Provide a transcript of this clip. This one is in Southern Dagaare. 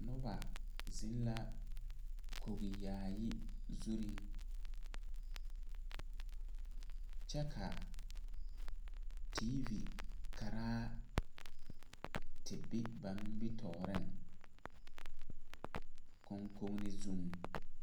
Noba zeŋ ka kogi yaayi zurreŋ kyɛ ka teevi karaa te be ba nimitooreŋ koŋkoneŋ zuŋ.